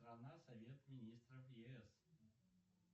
страна совет министров ес